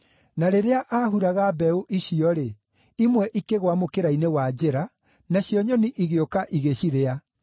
Na rĩrĩa aahuraga mbeũ icio-rĩ, imwe ikĩgũa mũkĩra-inĩ wa njĩra, nacio nyoni igĩũka ĩgĩcirĩa.